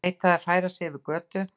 Neitaði að færa sig yfir götu